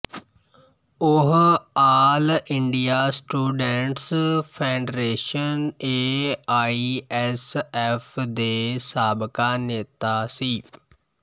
ਉਹ all India students federation A I S F ਦੇ ਸਾਬਕਾ ਨੇਤਾ ਸੀ